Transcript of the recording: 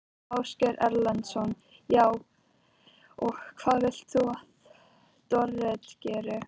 Ásgeir Erlendsson: Já, og hvað vilt þú að Dorrit geri?